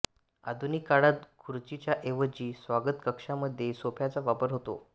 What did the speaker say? आधुनिक काळात खुर्चीच्या ऐवजी स्वागतकक्षामध्ये सोफ्याचा वापर होतो